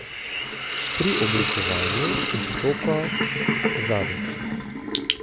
Pri oblikovanju izstopa zadek.